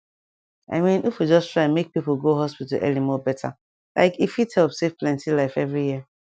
i mean if we just try make people go hospital early more better like e fit help save plenty life every year